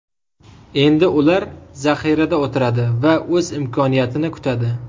Endi ular zaxirada o‘tiradi va o‘z imkoniyatini kutadi.